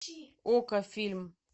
окко фильм